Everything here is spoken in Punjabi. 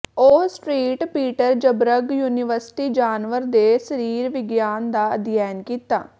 ਉਹ ਸ੍ਟ੍ਰੀਟ ਪੀਟਰ੍ਜ਼੍ਬਰ੍ਗ ਯੂਨੀਵਰਸਿਟੀ ਜਾਨਵਰ ਦੇ ਸਰੀਰ ਵਿਗਿਆਨ ਦਾ ਅਧਿਐਨ ਕੀਤਾ